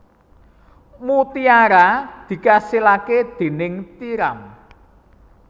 Mutiara dikasilaké déning tiram